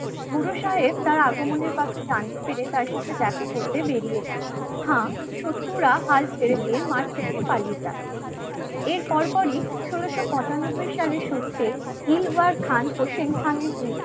গুরু সাহেব তার আগমনের কথা জানতে পেরে তার সাথে দেখা করতে বেরিয়েছে. হ্যাঁ হ্যাঁ. শত্রুরা হাল ছেড়ে দিয়ে মাঠ থেকে পালিয়ে যায়. এর পরপরই ষোলোশো পঁচানব্বই সালের শুরুতে দিলবার খান প্রসেন খানের